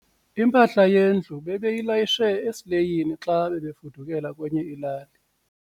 Impahla yendlu bebeyilayishe esileyini xa bebefudukela kwenye ilali.